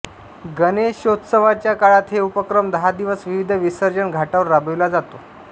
गणेशोत्सवाच्या काळात हे उपक्रम दहा दिवस विविध विसर्जन घाटांवर राबविला जातो